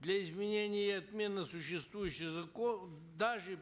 для изменения и отмены существующих даже